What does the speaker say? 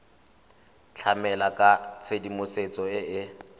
tlamela ka tshedimosetso e e